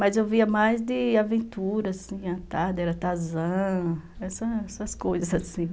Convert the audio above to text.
Mas eu via mais de aventura, assim, a tarde era Tarzan, essas coisas assim.